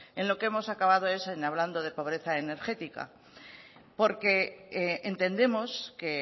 en lo que hemos acabado es hablando de pobreza energética porque entendemos que